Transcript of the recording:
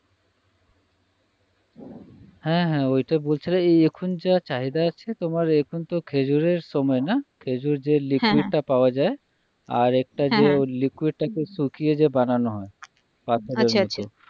হ্যাঁ হ্যাঁ ওইটা বলছিলে এখন যা চাহিদা আছে তোমার এখন তো খেজুরের সময় না খেজুর যে liquid টা হ্যাঁ হ্যাঁ পাওয়া যায় আর একটা হ্যাঁ হ্যাঁ যে liquid টা কে শুকিয়ে যে বানানো হয় আচ্ছা আচ্ছা পাথরের মতো